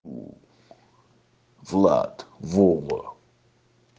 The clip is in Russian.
влад вова